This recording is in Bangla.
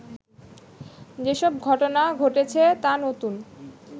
যেসব ঘটনা ঘটেছে তা নতুন